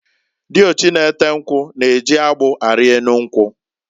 Diochi na-ete nkwu na-eji agbụ ari enu nkwu.